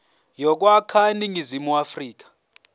yokwakha iningizimu afrika